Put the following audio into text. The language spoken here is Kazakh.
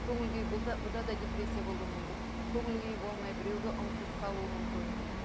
көңіл күй бұл да бұнда да депрессия болуы мүмкін көңіл күйі болмай біреуге ұмтылып қалуы мүмкін